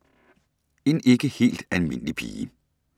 En ikke helt almindelig pige